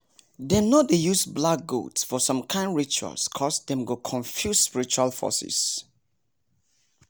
dem no dey use black goat for some kind rituals coz dem go confuse spiritual forces